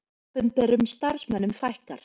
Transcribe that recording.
Opinberum starfsmönnum fækkar